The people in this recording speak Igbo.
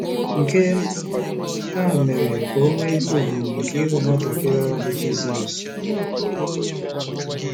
Nke a mere ka o nwee ihe ùgwù nke ịhụ nwatakịrị ahụ bụ́ Jizọs.